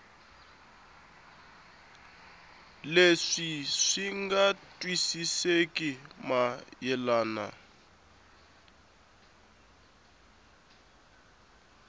leswi swi nga twisisekeki mayelana